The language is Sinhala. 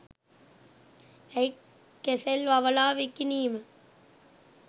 ඇයි කෙසෙල් වවලා විකිනීම